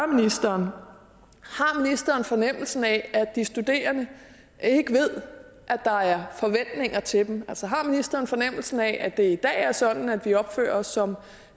ministeren har fornemmelsen af at de studerende ikke ved at der er forventninger til dem altså har ministeren fornemmelsen af at det i dag er sådan at vi opfører os som